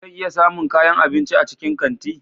Zan iya samun kayan abinci a cikin kanti?